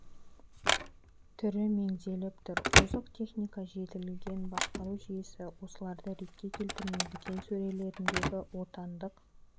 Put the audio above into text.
түрі меңзеліп тұр ол озық техника жетілген басқару жүйесі осыларды ретке келтірмей дүкен сөрелеріндегі отандық